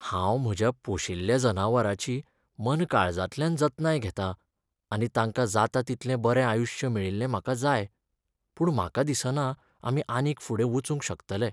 हांव म्हज्या पोशिल्ल्या जनावराची मनकाळजांतल्यान जतनाय घेतां आनी तांकां जाता तितलें बरें आयुश्य मेळिल्लें म्हाका जाय, पूण म्हाका दिसना आमी आनीक फुडें वचूंक शकतले.